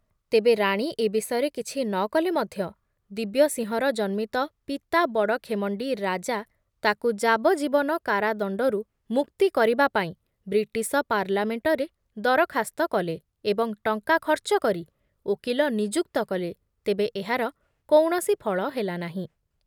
ତେବେ ରାଣୀ ଏ ବିଷୟରେ କିଛି ନ କଲେ ମଧ୍ୟ ଦିବ୍ୟସିଂହର ଜନ୍ମିତ ପିତା ବଡ଼ଖେମଣ୍ଡି ରାଜା ତାକୁ ଯାବଜୀବନ କାରାଦଣ୍ଡରୁ ମୁକ୍ତି କରିବା ପାଇଁ ବ୍ରିଟିଶ ପାର୍ଲାମେଣ୍ଟରେ ଦରଖାସ୍ତ କଲେ ଏବଂ ଟଙ୍କା ଖର୍ଚ୍ଚ କରି ଓକିଲ ନିଯୁକ୍ତ କଲେ, ତେବେ ଏହାର କୌଣସି ଫଳ ହେଲା ନାହିଁ ।